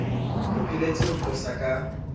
o phehelletse ho nqosa ka